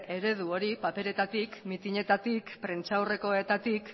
eredu hori paperetatik mitinetatik prentsaurrekoetatik